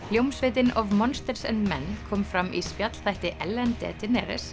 hljómsveitin of monsters and men kom fram í spjallþætti Ellen